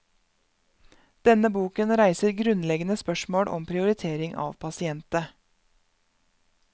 Denne boken reiser grunnleggende spørsmål om prioritering av pasiente.